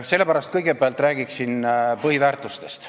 Sellepärast räägin kõigepealt põhiväärtustest.